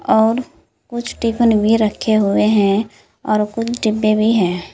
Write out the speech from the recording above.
और कुछ टिफिन भी रखे हुए हैं और कुछ डिब्बे भी है।